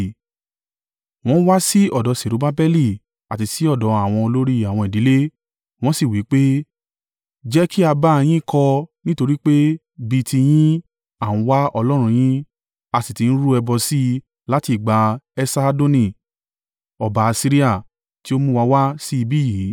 wọ́n wá sí ọ̀dọ̀ Serubbabeli àti sí ọ̀dọ̀ àwọn olórí àwọn ìdílé, wọ́n sì wí pé, “Jẹ́ kí a bá a yín kọ́ nítorí pé, bí i tiyín, a ń wá Ọlọ́run yín, a sì ti ń rú ẹbọ sí i láti ìgbà Esarhadoni ọba Asiria, tí ó mú wa wá sí ibi yìí.”